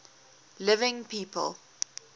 living people